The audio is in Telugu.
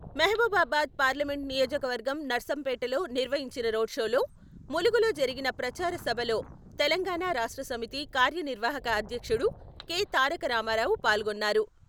మహబూబాబాద్ పార్లమెంటు నియోజకవర్గం నర్సంపేటలో నిర్వహించిన రోడ్లో, ములుగులో జరిగిన ప్రచార సభలో తెలంగాణ రాష్ట్రసమితి కార్యనిర్వహక అధ్యక్షుడు కె.తారకరామారావు పాల్గొన్నారు.